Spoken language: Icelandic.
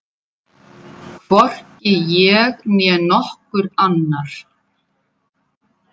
Hvorki ég né nokkur annar.